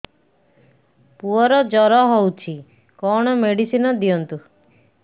ପୁଅର ଜର ହଉଛି କଣ ମେଡିସିନ ଦିଅନ୍ତୁ